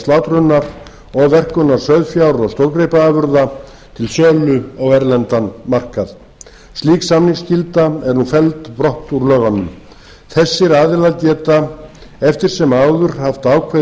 slátrunar og verkunar sauðfjár og stórgripaafurða til sölu á erlendan markað slík samningsskylda er nú felld brott úr lögunum þessir aðilar geta eftir sem áður haft ákveðið